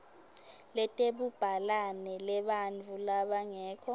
letebubhalane lebantfu labangekho